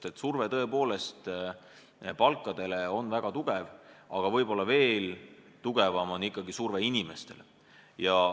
Palgasurve on tõepoolest väga tugev, aga võib-olla veel tugevam on ikkagi surve inimestele.